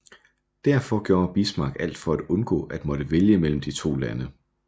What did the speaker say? Derfor gjorde Bismarck alt for at undgå at måtte vælge mellem de to lande